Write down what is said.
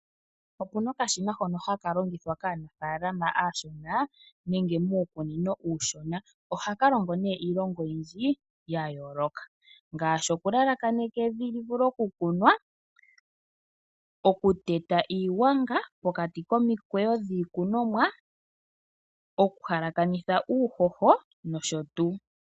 Okuna okashina hono haka longithwa kaanafaalama aashona nenge muukunino uushona. Ohaka longo nee iilonga oyindji ya yooloka. Ngaashi okulalakaneka evi livule okukunwa, okuteta iigwanga pokati komikweyo dhii kunomwa, okuhalakanitha uuhoho, nosho tuu.